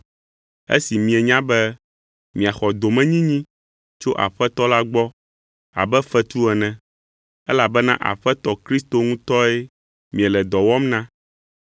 esi mienya be miaxɔ domenyinyi tso Aƒetɔ la gbɔ abe fetu ene. Elabena Aƒetɔ Kristo ŋutɔe miele dɔ wɔm na.